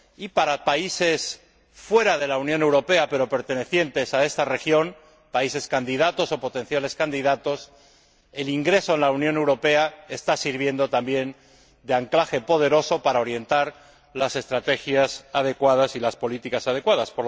2011. Para los países de fuera de la Unión Europea pero pertenecientes a esta región, países candidatos o potenciales candidatos, el ingreso en la Unión Europea está sirviendo también de anclaje poderoso para orientar las estrategias adecuadas y las políticas adecuadas.